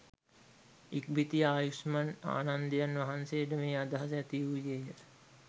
ඉක්බිති ආයුෂ්මත් ආනන්දයන් වහන්සේට මේ අදහස ඇතිවූයේ ය